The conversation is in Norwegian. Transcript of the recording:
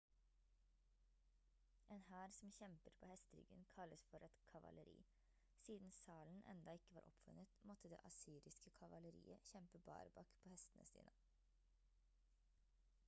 en hær som kjemper på hesteryggen kalles for et kavaleri siden salen enda ikke var oppfunnet måtte det assyriske kavaleriet kjempe barbak på hestene sine